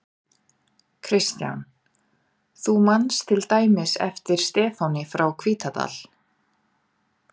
Kristján: Þú manst til dæmis eftir Stefáni frá Hvítadal?